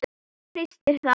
Hristir það.